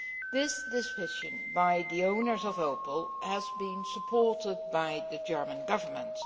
This decision by the owners of Opel has been supported by the German Government.